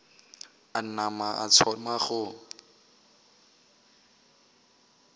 a nama a thoma go